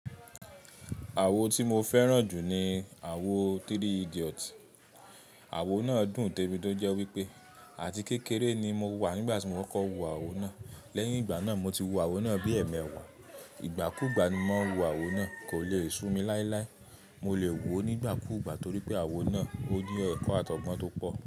Àwo tí mo fẹ́ràn jù ni àwo Three Idiot. Àwo náà dùn débi tí ó jẹ́ wípé àti kékeré ni mo wà nígbà tí mo kọ́kọ́b wo àwo náà. Lẹ́yìn ìgbà náà, mo ti wo àwo náà bí ẹ̀mẹẹ̀wà. Ìgbà kú ìgbà ni mò mọ́ ń wo àwo náà, kò lèe sú mi láíláí. Mo lè wò ó nígbà kú ìgbà torí pé àwo náà ó ní ẹ̀kọ́ àtọ̀gbọ́n tó pọ̀